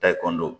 Ta ekɔlidenw